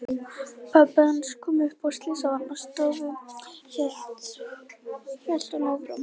Pabbi hans kom upp á Slysavarðstofu, hélt hún áfram.